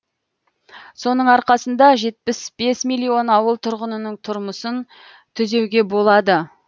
соның арқасында жетпіс бес миллион ауыл тұрғынының тұрмысын түзеуге болады